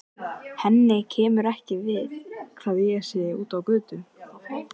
Henni kemur ekki við hvað ég sé úti á götu.